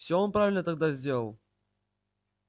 всё он правильно тогда сделал